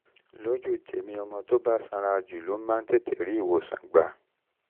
lójú tèmi ọmọ tó bá sanra jù ló máa ń tètè rí ìwòsàn gbà